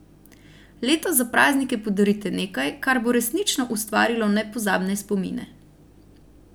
Letos za praznike podarite nekaj, kar bo resnično ustvarilo nepozabne spomine.